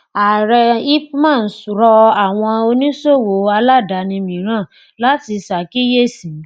ààrẹ ipman rọ àwọn oníṣòwò aládàáni mìíràn láti ṣàkíyèsí.